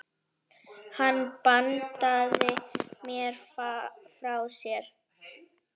Hann bandaði mér frá sér.